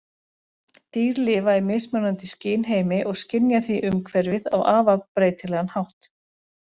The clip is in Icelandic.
Dýr lifa í mismunandi skynheimi og skynja því umhverfið á afar breytilegan hátt.